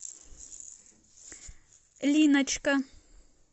линочка